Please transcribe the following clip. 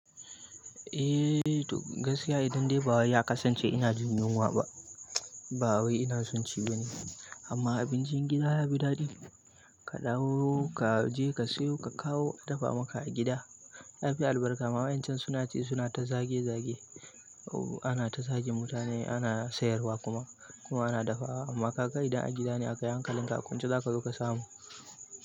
Eh, to gaskiya idan dai bawai ya kasance ina jin yunwa ba, ba wai ina son ci ba ne. Amma abincin gida ya fi daɗi. Ka dawo, ka je ka siyo, ka kawo a dafa maka a gida. Ya fi albarka. Ma wa'yan chan suna ci suna ta zage zage. Ana ta zage mutane, ana sayarwa kuma kuma ana dafawa. Amma ka ga idan a gida ne akayihankalinka, a kwance za ka zo ka samu.